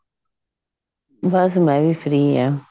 ਬਸ ਮੈਂ ਵੀ free ਆ